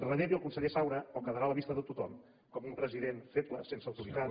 relegui el conse·ller saura o quedarà a la vista de tothom com un presi·dent feble sense autoritat